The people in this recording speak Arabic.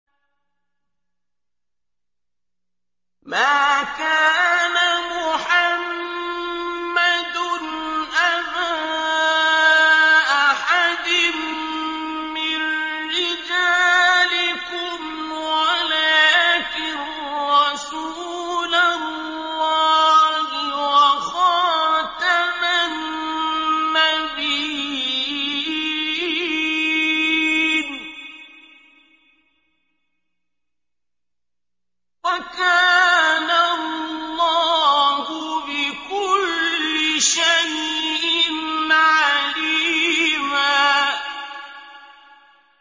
مَّا كَانَ مُحَمَّدٌ أَبَا أَحَدٍ مِّن رِّجَالِكُمْ وَلَٰكِن رَّسُولَ اللَّهِ وَخَاتَمَ النَّبِيِّينَ ۗ وَكَانَ اللَّهُ بِكُلِّ شَيْءٍ عَلِيمًا